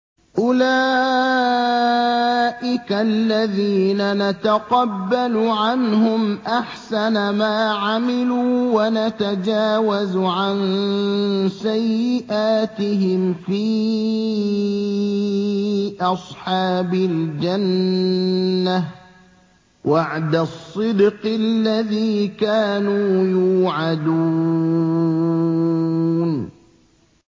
أُولَٰئِكَ الَّذِينَ نَتَقَبَّلُ عَنْهُمْ أَحْسَنَ مَا عَمِلُوا وَنَتَجَاوَزُ عَن سَيِّئَاتِهِمْ فِي أَصْحَابِ الْجَنَّةِ ۖ وَعْدَ الصِّدْقِ الَّذِي كَانُوا يُوعَدُونَ